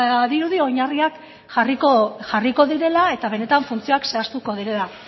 badirudi oinarriak jarriko direla eta benetan funtzioak zehaztuko direla